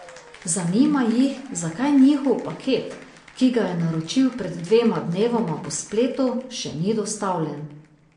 Zanima jih, zakaj njihov paket, ki ga je naročil pred dvema dnevoma po spletu, še ni dostavljen.